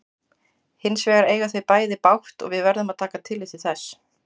Hins vegar eiga þau bæði bágt og við verðum að taka tillit til þess.